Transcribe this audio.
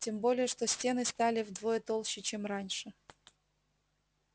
тем более что стены стали вдвое толще чем раньше